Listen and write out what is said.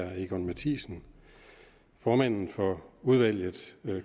og egon mathiesen formanden for